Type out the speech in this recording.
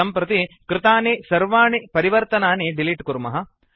सम्प्रति कृतानि सर्वाणि परिवर्तनानि डिलीट् कुर्मः